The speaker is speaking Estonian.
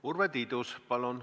Urve Tiidus, palun!